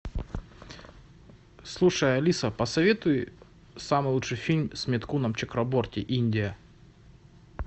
слушай алиса посоветуй самый лучший фильм с митхуном чакраборти индия